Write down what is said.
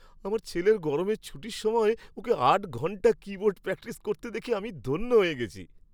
আমার ছেলের গরমের ছুটির সময় ওকে আট ঘণ্টা কীবোর্ড প্র্যাকটিস করতে দেখে আমি ধন্য হয়ে গেছি।